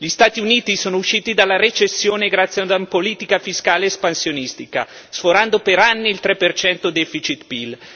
Gli Stati Uniti sono usciti dalla recessione grazie a una politica fiscale espansionistica, sforando per anni il 3 deficit PIL.